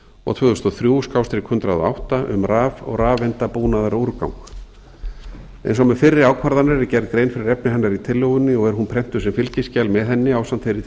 og tvö þúsund og þrjú hundrað og átta um raf og rafeindabúnaðarúrgang eins og með fyrri ákvarðanir er gerð grein fyrir efni hennar í tillögunni og er hún prentuð sem fylgiskjal með henni ásamt þeirri